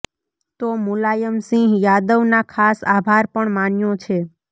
તો મુલાયમ સિંહ યાદવના ખાસ આભાર પણ માન્યો છે